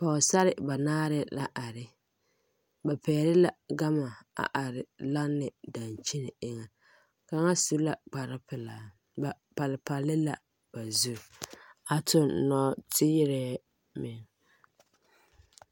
Pɔgesarre ba naare la are ba pɛgle la gama a are lane daŋkyine eŋa kaŋa su la kparre pelaa ba palpal la ba zuri a tuŋ nɔɔteerɛ meŋ.